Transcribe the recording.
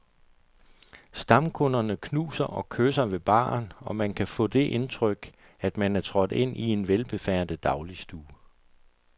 Stamkunderne knuser og kysser ved baren, og man kan få det indtryk, at man er trådt ind i en velbefærdet dagligstue.